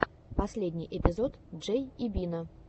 последний эпизод джей и бина